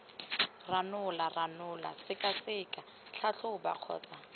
ranola ranola sekaseka tlhatlhoba kgotsa